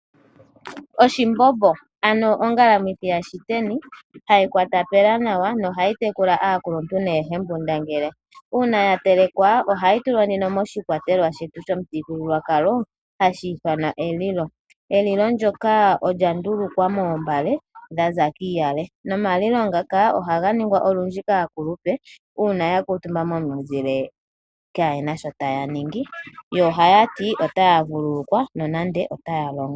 Oshimbombo, ano ongalamwithi yashiteni hayi kwata pela nawa nohayi tekula aakuluntu noohembundangele. Uuna ya telekwa ohayi tulwa moshikwatelwa shetu shomuthigululwakalo hashi ithanwa elilo. Elilo ndyoka olya ndulukwa moombale dha za kiiyale, nomalilo ngaka ohaga ningwa olundji kaakulupe uuna ya kuutumba momuzile kaaye na sho taya ningi. Yo ohaya ti otaya vululukwa nonande oye na sho taya longo.